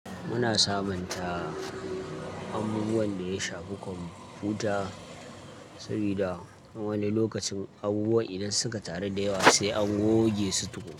Muna sabunta abubuwan da ya shafe computer, sabida wani lokacin abubuwan idan suka taru da yawa se an goge su tukun.